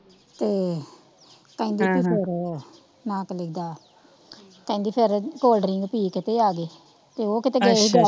ਤੇ ਹ ਹ ਕਹਿੰਦੀ ਫਿਰ ਨਾਂ ਕਾਨੜਾ ਕਹਿੰਦੀ ਫੇਰ ਕੋਲਡ ਡ੍ਰਿੰਕ ਪੀ ਕੇ ਤੇ ਆ ਗਏ ਤੇ ਓਹ ਕੀਤੇ ਗਏ,